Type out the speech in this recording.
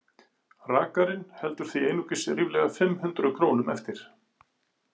Rakarinn heldur því einungis ríflega fimm hundruð krónum eftir.